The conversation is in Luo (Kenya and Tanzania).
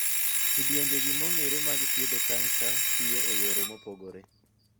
Kidienjegi mong'ere mag thiedho kansa tiyo e yore mopogore.